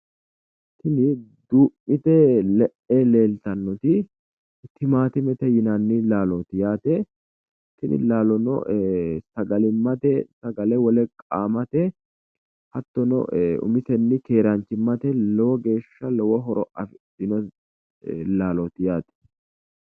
Tini duu'mite le'e leeltannoti timaattimete yinanni laalooti yaate tini laalono sagalimmate sagale wole qaamate hattono ee umisenni keeranchimmate lowo geeshsha lowo horo afidhino laalooti yaate.